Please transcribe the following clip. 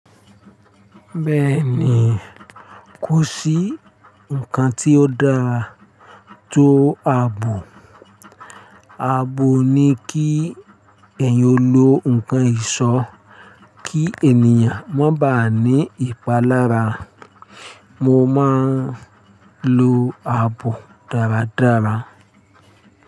Bẹ́ẹ̀ni, kò sí ǹkan tí ó dáa tó àbò. Àbò ni kí ẹ̀yan o lo ǹkan ìṣọ́ kí ènìyàn má baà ní ìpalára. Mo máa ń lo àbò dáradára.